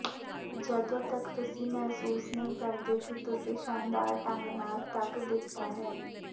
ਜਦੋਂ ਤੱਕ ਤੁਸੀਂ ਮਹਿਸੂਸ ਨਹੀਂ ਕਰਦੇ ਕਿ ਤੁਸੀਂ ਸ਼ਾਨਦਾਰ ਢੰਗ ਨਾਲ ਧੱਕ ਦਿੱਤਾ ਹੈ